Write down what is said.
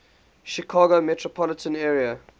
chicago metropolitan area